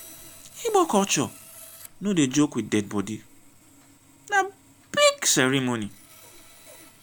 igbo culture no dey joke with dead body na big ceremony.